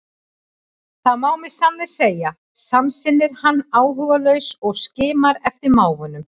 Það má með sanni segja, samsinnir hann áhugalaus og skimar eftir mávunum.